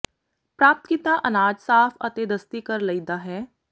ਪ੍ਰਾਪਤ ਕੀਤਾ ਅਨਾਜ ਸਾਫ਼ ਅਤੇ ਦਸਤੀ ਕਰ ਲਈਦਾ ਹੈ